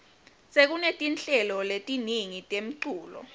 sekunetinhlelo letiningi temculo